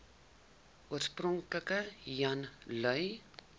oorspronklik jan lui